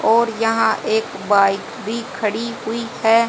और यहां एक बाइक भी खड़ी हुई हैं।